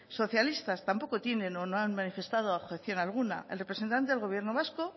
socialistas tampoco tienen o no han manifestado objeción alguna el representante del gobierno vasco